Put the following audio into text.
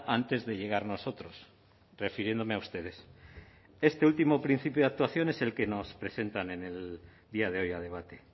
antes de llegar nosotros refiriéndome a ustedes este último principio de actuación es el que nos presentan en el día de hoy a debate